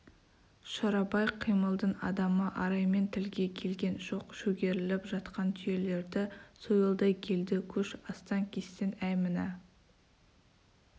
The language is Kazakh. шорабай қимылдың адамы араймен тілге келген жоқ шөгеріліп жатқан түйелерді сойылдай келді көш астан-кестен әй мына